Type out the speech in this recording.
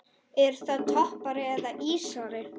Er það toppari eða ísari?